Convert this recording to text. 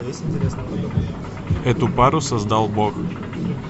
эту пару создал бог